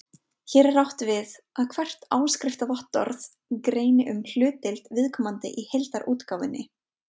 Hér er átt við að hvert áskriftarvottorð greini um hlutdeild viðkomandi í heildarútgáfunni.